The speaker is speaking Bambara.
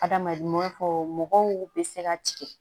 Adamaden fɔ mɔgɔw bɛ se ka tigɛ